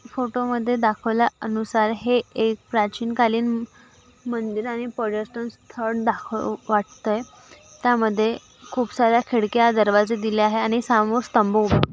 फोटोमध्ये दाखवल्या अनुसार हे एक प्राचीन कालीन मंदिर आणि पर्यटन स्थळ दाखव वाटतय त्यामध्ये खूप सार्‍या खिडक्या दरवाजे दिले आहे आणि समोर स्तंभ उभा--